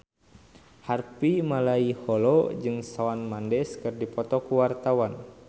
Harvey Malaiholo jeung Shawn Mendes keur dipoto ku wartawan